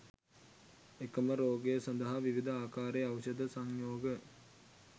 එකම රෝගය සඳහා විවිධ ආකාරයේ ඖෂධ සංයෝග